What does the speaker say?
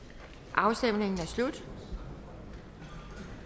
afstemningen er slut